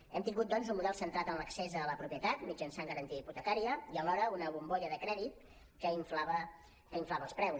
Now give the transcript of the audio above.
hem tingut doncs un model centrat en l’accés a la propietat mitjançant garantia hipotecària i alhora una bombolla de crèdit que inflava els preus